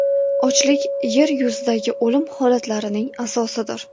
Ochlik yer yuzidagi o‘lim holatlarining asosidir.